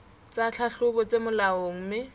tsa tlhahlobo tse molaong mme